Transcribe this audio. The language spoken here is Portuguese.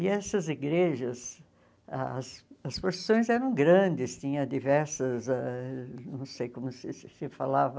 E essas igrejas, ah as as procissões eram grandes, tinha diversas, ãh não sei como se se falava...